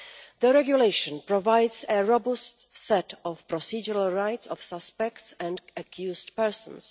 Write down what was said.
The regulation provides a robust set of procedural rights of suspects and accused persons.